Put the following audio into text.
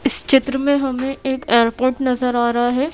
इस चित्र में हमें एक एयरपोर्ट नजर आ रहा है।